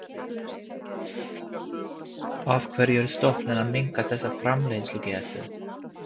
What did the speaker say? Af hverju er stofninn að minnka þessa framleiðslugetu?